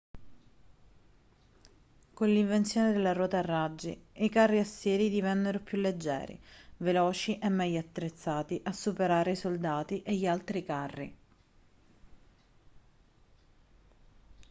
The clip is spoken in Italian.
con l'invenzione della ruota a raggi i carri assiri divennero più leggeri veloci e meglio attrezzati a superare i soldati e gli altri carri